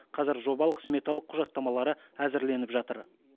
қазір жобалық сметалық құжаттамалары әзірленіп жатыр